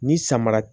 Ni samara